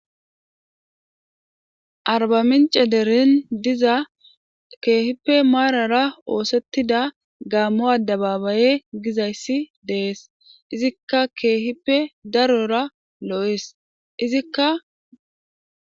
Arbamin cederin diza keehippe maarara oosettida gaammo ada babaye gizayssi dees izikka keehippe darora loo'ees izikka.